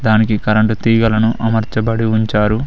దానికి కరెంటు తీగలను అమర్చబడి ఉంచారు.